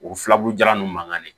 O filaburu jalan ninnu mankani